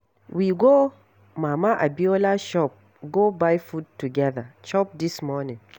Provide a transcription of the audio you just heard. We go Mama Abiola shop go buy food together chop dis morning.